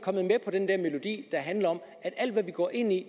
med om at alt hvad vi går ind i